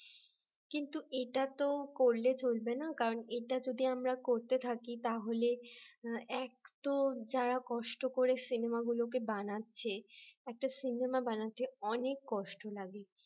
কিন্তু এটা তো করলে চলবে না কারণ এটা যদি আমরা করতে থাকি তাহলে এক তো যারা কষ্ট করে সিনেমাগুলোকে বানাচ্ছে একটা সিনেমা বানাতে অনেক কষ্ট লাগে